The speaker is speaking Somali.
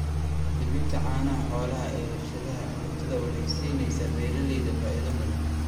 Iibinta caanaha xoolaha ee warshadaha cuntada waxay siinaysaa beeralayda faa'iido badan.